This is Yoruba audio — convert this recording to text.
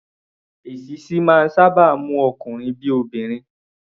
Èṣíṣí máa ń sáábà mú ọkunrin bí i obìnrin.